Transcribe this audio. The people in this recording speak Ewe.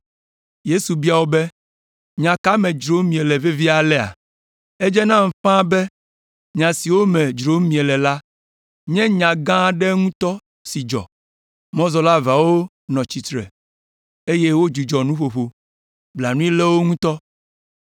Yesu bia wo be, “Nya ka me dzrom miele vevie alea? Edze nam ƒãa be nya siwo me dzrom miele la nye nya gã aɖe ŋutɔ si dzɔ.” Mɔzɔla eveawo nɔ tsitre, eye wodzudzɔ nuƒoƒo. Blanui lé wo ŋutɔ.